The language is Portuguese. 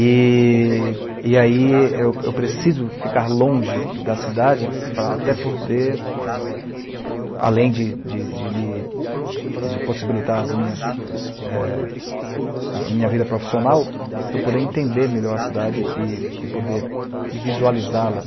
E e aí eu eu preciso ficar longe da cidade para até poder, além de de de me de possibilitar a minha vida profissional, eu poder entender melhor a cidade e e pode-la visualizá-la,